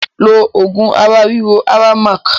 Lo oògùn ara ríro Aramac!